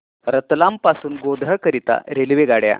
रतलाम पासून गोध्रा करीता रेल्वेगाड्या